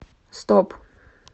стоп